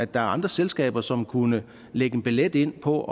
der er andre selskaber som kunne lægge billet ind på